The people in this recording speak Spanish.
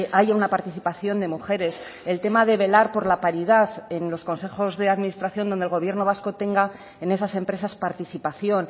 haya una participación de mujeres el tema de velar por la paridad en los consejos de administración donde el gobierno vasco tenga en esas empresas participación